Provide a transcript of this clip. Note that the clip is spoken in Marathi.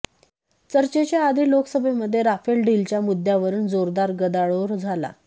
चर्चेच्या आधी लोकसभेमध्ये राफेल डीलच्या मुद्द्यावरून जोरदार गदारोळ झाला